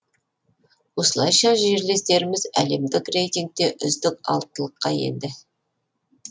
осылайша жерлестеріміз әлемдік рейтингте үздік алтылыққа енді